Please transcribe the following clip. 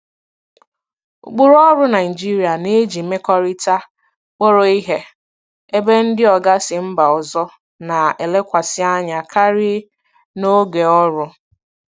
Ụkpụrụ ọrụ Naịjirịa na-eji mmekọrịta kpọrọ ihe, ebe ndị oga si mba ọzọ na-elekwasị anya karịa na oge ọrụ.